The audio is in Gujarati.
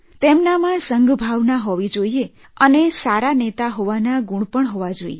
તેમનામાં સંઘભાવના હોવી જોઇએ અને સારા નેતા હોવાનો ગુણ પણ હોવો જોઇએ